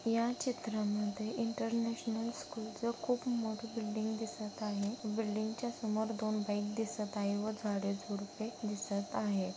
या चित्रा मध्ये इंटर नॅशनल स्कूल चा खूप मोठा बिल्डिंग दिसत आहे बिल्डिंग च्या समोर दोन बँक दिसत आहे व झाडे झुडपे दिसत आहे.